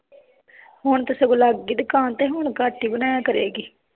ਹੁਣ ਤੇ ਸਗੋਂ ਲੱਗਗੀ ਦੁਕਾਨ ਤੇ ਹੁਣ ਘੱਟ ਹੀ ਬਣਾਇਆ ਕਰੇਗੀ